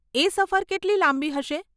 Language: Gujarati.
એ સફર કેટલી લાંબી હશે?